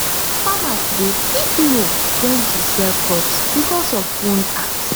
farmers dey quick know when to sell crops because of phone apps